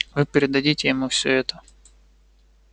вы передадите ему все это